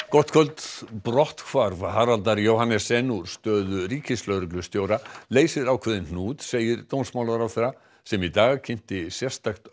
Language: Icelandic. gott kvöld brotthvarf Haraldar Johannessen úr stöðu ríkislögreglustjóra leysir ákveðinn hnút segir dómsmálaráðherra sem í dag kynnti sérstakt